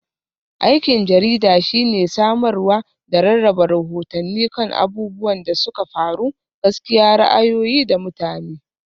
Aikin jarida shine samarwa da rarraba rahotanni kan abubuwan da suka faru, gaskiya, ra'ayoyi, da mutane.